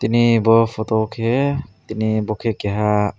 ni bo photo o ke tini bo ke keha.